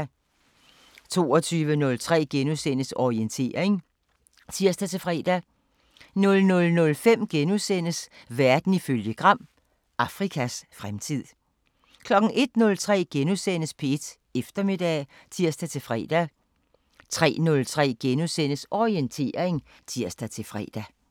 22:03: Orientering *(tir-fre) 00:05: Verden ifølge Gram: Afrikas fremtid * 01:03: P1 Eftermiddag *(tir-fre) 03:03: Orientering *(tir-fre)